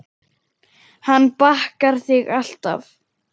Hann bakar þig alltaf.